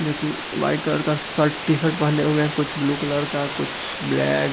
जो की white colour का शर्ट टी-शर्ट पेहने हुए हैं कुछ ब्लू कलर का कुछ ब्लैक --